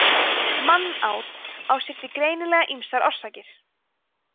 mannát á sér því greinilega ýmsar orsakir